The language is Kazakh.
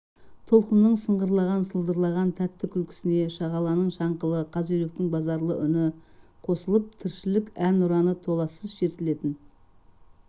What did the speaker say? толқынның сыңғырлаған сылдырлаған тәтті күлкісіне шағаланың шаңқылы қаз-үйректің базарлы үн қосылып тіршілік ән ұраны толассыз шертілетін